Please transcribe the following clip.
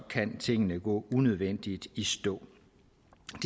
kan tingene gå unødvendigt i stå